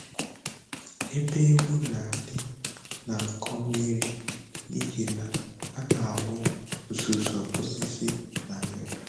Ebe ehi na-adị na-akọ mmiri n'ihi na a na-awụ uzuzu osisi na ya